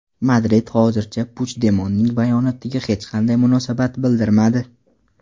Madrid hozircha Puchdemonning bayonotiga hech qanday munosabat bildirmadi.